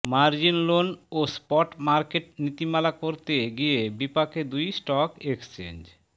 margin loan ও spot market নীতিমালা করতে গিয়ে বিপাকে দুই স্টক এক্সচেঞ্জ